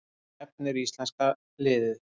Hvert stefnir íslenska liðið